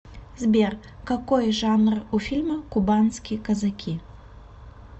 сбер какои жанр у фильма кубанские казаки